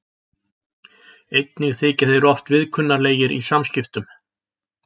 Einnig þykja þeir oft viðkunnanlegir í samskiptum.